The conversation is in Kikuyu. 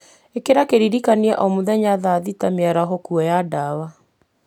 ĩkĩra kĩririkania o mũthenya thaa thita mĩaraho kwoya ndawa